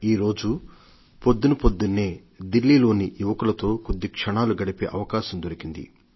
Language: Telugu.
ఈ రోజు పొద్దు పొద్దునే ఢిల్లీలోని యువకులతో కొద్ది క్షణాలు గడిపే అవకాశం దొరికింది